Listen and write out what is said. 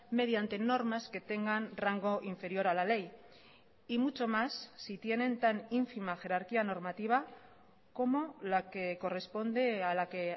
mediante normas que tengan rango inferior a la ley y mucho más si tienen tan ínfima jerarquía normativa como la que corresponde a la que